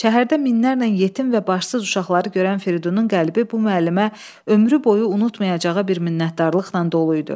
Şəhərdə minlərlə yetim və başsız uşaqları görən Firidunun qəlbi bu müəllimə ömrü boyu unutmayacağı bir minnətdarlıqla dolu idi.